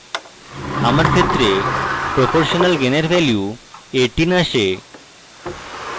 আমার ক্ষেত্রে proportional gain in value 18 আসে